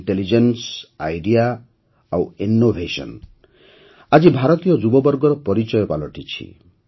intelligence idea ଓ innovation ଆଜି ଭାରତୀୟ ଯୁବବର୍ଗର ପରିଚୟ ପାଲଟିଛି